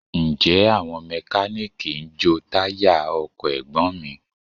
Ǹjẹ́ àwọn Mẹkáníìkì ń jo táyà ọkọ̀ Ẹ̀gbọ́n mi?